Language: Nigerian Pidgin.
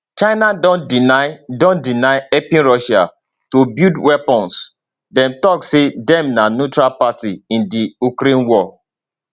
china don deny don deny helping russia to build weapons dem tok say dem na neutral party in di ukraine war